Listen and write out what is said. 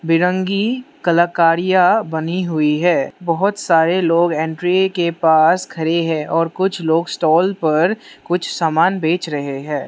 फिरंगी कलाकारीया बनी हुई है बहोत सारे लोग एंट्री के पास खड़े हैं और कुछ लोग स्टॉल पर कुछ सामान बेच रहे है।